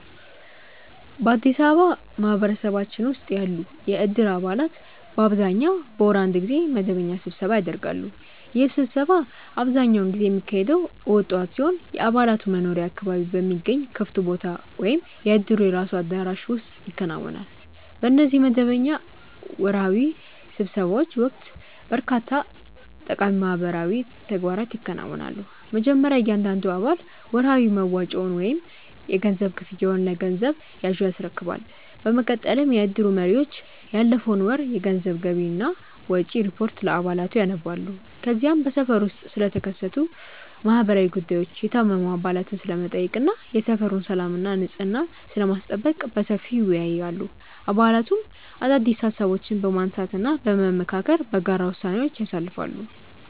በአዲስ አበባ ማህበረሰባችን ውስጥ ያሉ የእድር አባላት በአብዛኛው በወር አንድ ጊዜ መደበኛ ስብሰባ ያደርጋሉ። ይህ ስብሰባ አብዛኛውን ጊዜ የሚካሄደው እሁድ ጠዋት ሲሆን፣ የአባላቱ መኖሪያ አካባቢ በሚገኝ ክፍት ቦታ ወይም የእድሩ የራሱ አዳራሽ ውስጥ ይከናወናል። በእነዚህ መደበኛ ወርሃዊ ስብሰባዎች ወቅት በርካታ ጠቃሚ ማህበራዊ ተግባራት ይከናወናሉ። መጀመሪያ እያንዳንዱ አባል ወርሃዊ መዋጮውን ወይም የገንዘብ ክፍያውን ለገንዘብ ያዡ ያስረክባል። በመቀጠልም የእድሩ መሪዎች ያለፈውን ወር የገንዘብ ገቢና ወጪ ሪፖርት ለአባላቱ ያነባሉ። ከዚያም በሰፈሩ ውስጥ ስለተከሰቱ ማህበራዊ ጉዳዮች፣ የታመሙ አባላትን ስለመጠየቅ እና የሰፈሩን ሰላምና ንጽሕና ስለማስጠበቅ በሰፊው ይወያያሉ። አባላቱም አዳዲስ ሃሳቦችን በማንሳትና በመመካከር በጋራ ውሳኔዎችን ያሳልፋሉ።